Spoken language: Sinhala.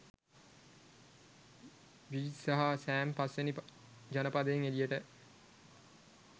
බ්‍රිජ්ස් සහ සෑම් පස්වෙනි ජනපදයෙන් එලියට